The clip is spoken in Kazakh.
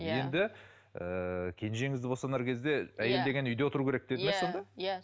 енді ыыы кенжеңізді босанар кезде әйел деген үйде отыру керек деді ме сонда иә